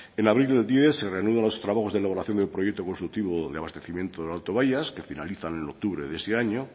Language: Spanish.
en abril del dos mil diez se reanudan los trabajos de elaboración del proyecto constructivo de abastecimiento del alto bayas que finalizan en octubre de ese año